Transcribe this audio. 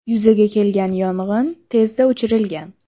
Yuzaga kelgan yong‘in tezda o‘chirilgan.